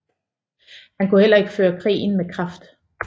Han kunne heller ikke føre krigen med kraft